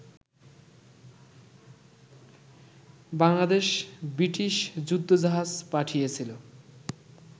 Bangladesh British যুদ্ধজাহাজ পাঠিয়েছিল